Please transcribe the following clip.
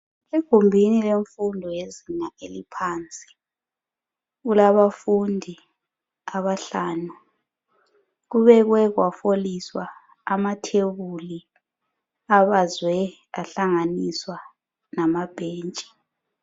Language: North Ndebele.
Egumbini lefundo yezinga eliphansi. Kulafundi abahlanu. Kubekwe kwaholiswa amathebuli abazwe ahlanyiswa namabhentshi.